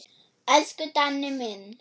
Elsku Danni minn.